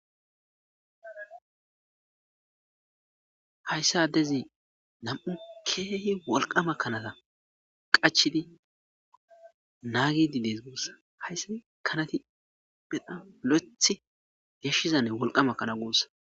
Hayssi addezi nam7u keehi wolqama kanaza qachidi naagiidde dees guussa hayssi kanazi bena lo7ethi geeshshizanne wolqama kana guussa.